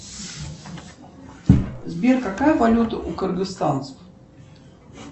сбер какая валюта у кыргызстанцев